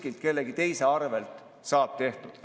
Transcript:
Lõpetame selle parteilise ülepakkumise ja kirjaoskamatud eelnõud.